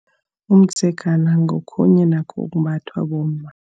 Umdzegana ngokhunye nakho okumbathwa bomma.